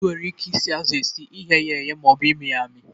E nwere ike isi azụ esi, ighe ya eghe, ma ọ bụ ịmị ya amị.